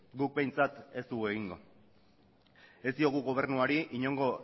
guk behintzat ez dugu egingo ez diogu gobernuari inongo